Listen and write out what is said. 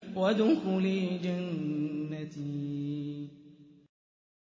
وَادْخُلِي جَنَّتِي